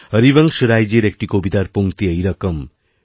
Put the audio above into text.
হরিবংশ রাইজীর একটি কবিতার পঙ্ক্তিএইরকম